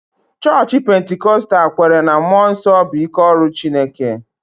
Chọọchị Pentikọstal kweere na mmụọ nsọ bụ ike ọrụ Chineke